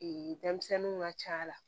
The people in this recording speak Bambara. denmisɛnninw ka ca la